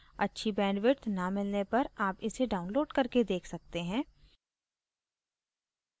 अच्छी bandwidth न मिलने पर आप इसे download करके देख सकते हैं